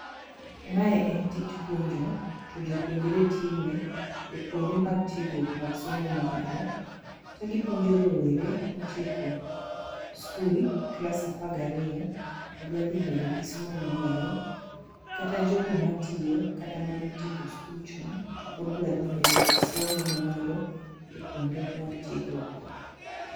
Mae en tij puonjo to jopuonjre time e kuonde mag tiegruok mag somo mamalo. To gipuonji rowere motieko skul klas apar gariyo todwa dhi mbele gi somo ma malo kata jogo matiyo kata manotieko skul chon to pod dwa dhi mbele gi somo ma malo kuonde mag tiegruok go.